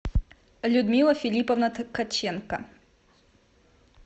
людмила филипповна ткаченко